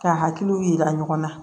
K'a hakiliw yira ɲɔgɔn na